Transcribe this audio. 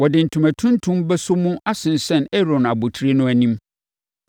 Wɔde ntoma tuntum bɛsɔ mu asensɛn Aaron abotire no anim.